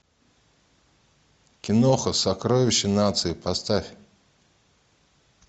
киноха сокровище нации поставь